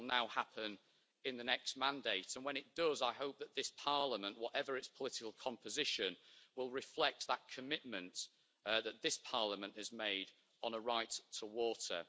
That will now happen in the next mandate, and when it does I hope that that Parliament, whatever its political composition, will reflect that commitment that this Parliament has made on a right to water.